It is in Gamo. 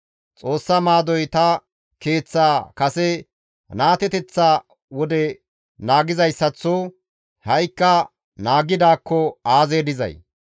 Xoossa maadoy ta keeththaa kase naateteththa wode naagizayssaththo ha7ikka naagidaakko aazee dizay?